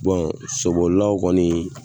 sobolilaw kɔni